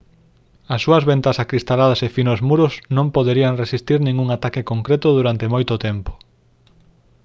as súas ventás acristaladas e finos muros non poderían resistir ningún ataque concreto durante moito tempo